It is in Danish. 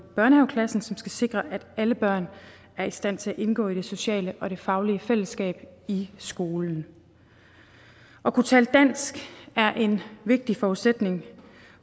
børnehaveklassen som skal sikre at alle børn er i stand til at indgå i det sociale og faglige fællesskab i skolen at kunne tale dansk er en vigtig forudsætning